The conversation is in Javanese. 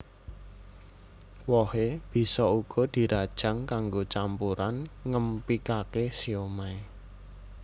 Wohé bisa uga dirajang kanggo campuran ngémpikake siomay